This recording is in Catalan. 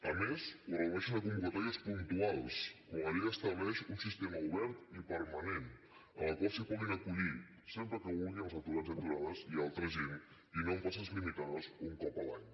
a més ho redueixen a convocatòries puntuals quan la llei estableix un sistema obert i permanent en el qual s’hi puguin acollir sempre que vulguin els aturats i aturades i altra gent i no amb places limitades un cop l’any